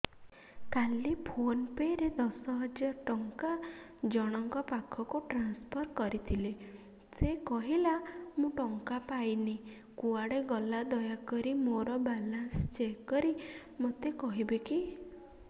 କାଲି ଫୋନ୍ ପେ ରେ ଦଶ ହଜାର ଟଙ୍କା ଜଣକ ପାଖକୁ ଟ୍ରାନ୍ସଫର୍ କରିଥିଲି ସେ କହିଲା ମୁଁ ଟଙ୍କା ପାଇନି କୁଆଡେ ଗଲା ଦୟାକରି ମୋର ବାଲାନ୍ସ ଚେକ୍ କରି ମୋତେ କହିବେ କି